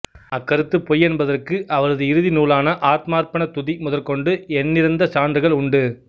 அக்கருத்து பொய்யென்பதற்கு அவரது இறுதிநூலான ஆத்மார்ப்பண துதி முதற்கொண்டு எண்ணிறந்த சான்றுகள் உண்டு